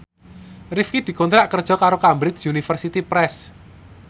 Rifqi dikontrak kerja karo Cambridge Universiy Press